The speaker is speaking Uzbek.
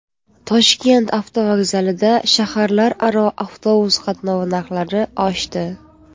Toshkent avtovokzalida shaharlararo avtobus qatnovi narxlari oshdi.